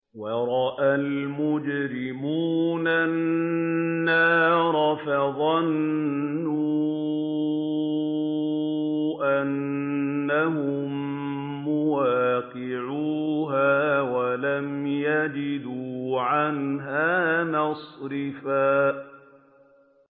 وَرَأَى الْمُجْرِمُونَ النَّارَ فَظَنُّوا أَنَّهُم مُّوَاقِعُوهَا وَلَمْ يَجِدُوا عَنْهَا مَصْرِفًا